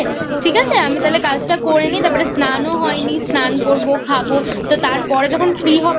আমি তাহলে কাজটা করে নিয়ে তারপর স্নানও হয়নি স্নান করবো খাবো তা তারপরে যখন Free হবো